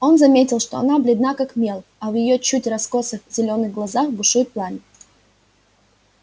он заметил что она бледна как мел а в её чуть раскосых зелёных глазах бушует пламя